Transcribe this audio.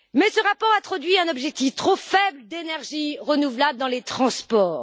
Ce rapport introduit néanmoins un objectif trop faible d'énergies renouvelables dans les transports.